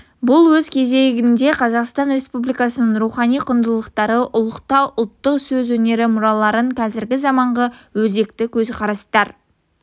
бұл өз кезегінде қазақстан республикасының рухани құндылықтарды ұлықтау ұлттық сөз өнері мұраларын қазіргі заманғы өзекті көзқарастар